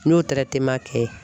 N'o kɛ.